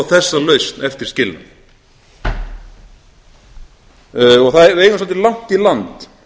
þessa lausn eftir skilnað við eigum svolítið langt í land